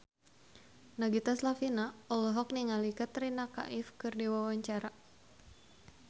Nagita Slavina olohok ningali Katrina Kaif keur diwawancara